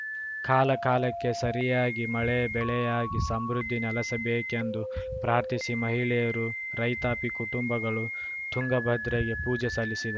ಕಾಲ ಕಾಲಕ್ಕೆ ಸರಿಯಾಗಿ ಮಳೆ ಬೆಳೆಯಾಗಿ ಸಮೃದ್ಧಿ ನೆಲೆಸಬೇಕೆಂದು ಪ್ರಾರ್ಥಿಸಿ ಮಹಿಳೆಯರು ರೈತಾಪಿ ಕುಟುಂಬಗಳು ತುಂಗಭದ್ರೆಗೆ ಪೂಜೆ ಸಲ್ಲಿಸಿ